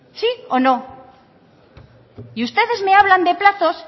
sí o no y ustedes me hablan de plazos